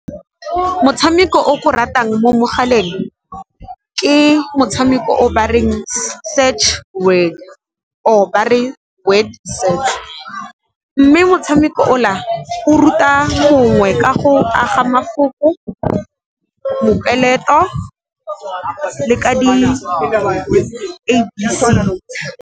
Motshameko o ke o ratang mo mogaleng ke motshameko o bareng Search Word or ba re Word Search, mme motshameko o la o ruta mongwe ka go aga mafoko, mopeleto le ka di-a b c.